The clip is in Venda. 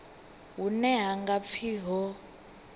hune ha nga pfi ho